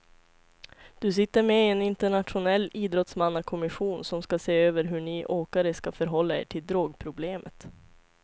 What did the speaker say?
Du sitter med i en internationell idrottsmannakommission som ska se över hur ni åkare ska förhålla er till drogproblemet.